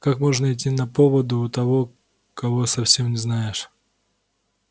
как можно идти на поводу у того кого совсем не знаешь